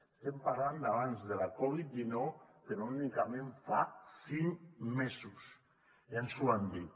estem parlant d’abans de la covid dinou però únicament fa cinc mesos ja ens ho van dir